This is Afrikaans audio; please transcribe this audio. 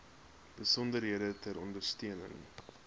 besonderhede ter ondersteuning